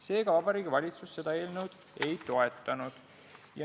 Seega, Vabariigi Valitsus seda eelnõu ei toetanud.